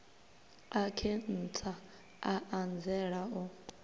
a khentsa a anzela u